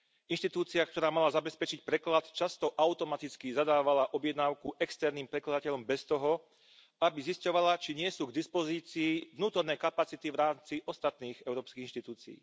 Inštitúcia, ktorá mala zabezpečiť preklad, často automaticky zadávala objednávku externým prekladateľom bez toho, aby zisťovala, či nie sú k dispozícii vnútorné kapacity v rámci ostatných európskych inštitúcií.